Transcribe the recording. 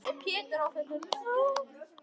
Ef Pétur á þetta nú.